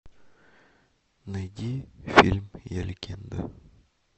найди фильм я легенда